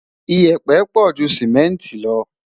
iyepe pọ jù simẹnti lo